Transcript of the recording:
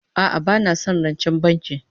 A'a bana son rancen banki